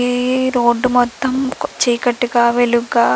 ఈ రోడ్డు మొత్తం చీకటిగా వెలుగుగా--